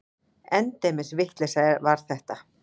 Endemis vitleysa var þetta!